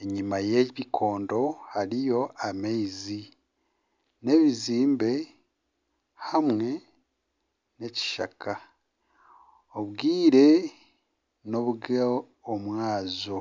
enyima y'ebikondo hariyo amaizi, n'ebizimbe hamwe n'ekishaka, obwire n'obwomwabazyo